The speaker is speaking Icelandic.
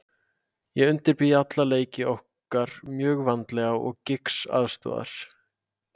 Ég undirbý alla leiki okkar mjög vandlega og Giggs aðstoðar.